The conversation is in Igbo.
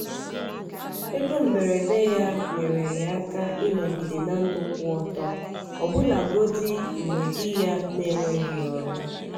ego mberede ya nyere ya aka ịnọgide na ndụ kwụ ọtọ ọbụlagodi mgbe di ya n'enweghị ọrụ.